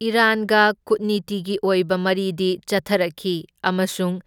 ꯏꯔꯥꯟꯒ ꯀꯨꯠꯅꯤꯇꯤꯒꯤ ꯑꯣꯢꯕ ꯃꯔꯤꯗꯤ ꯆꯠꯊꯔꯛꯈꯤ ꯑꯃꯁꯨꯡ